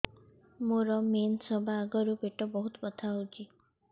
ମୋର ମେନ୍ସେସ ହବା ଆଗରୁ ପେଟ ବହୁତ ବଥା ହଉଚି